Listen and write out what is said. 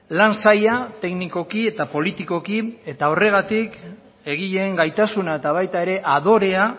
lan zaila teknikoki eta politikoki horregatik egileen gaitasuna eta baita ere adorea